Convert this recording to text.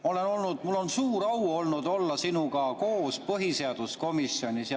Mul on olnud suur au olla sinuga koos põhiseaduskomisjonis.